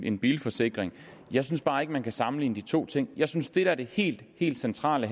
en bilforsikring jeg synes bare ikke man kan sammenligne de to ting jeg synes at det der det helt helt centrale